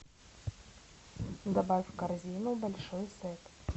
добавь в корзину большой сет